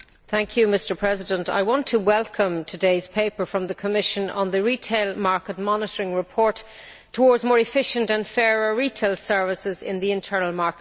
Mr President, I want to welcome today's paper from the Commission on the retail market monitoring report Towards more efficient and fairer retail services in the internal market for